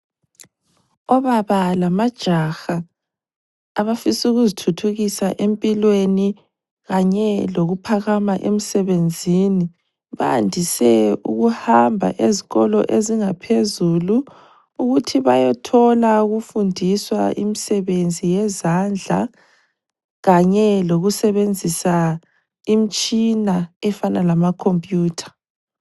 Obaba lamajaha abafisa ukuzithuthukisa empilweni kanye lokuphakama emsebenzini bandise ukuhamba ezikolo ezingaphezulu ukuthi bayethola ukufundiswa imsebenzi yezandla kanye lokusebenzisa imtshina efana lama khompiyutha.